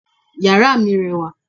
yara mi rẹwa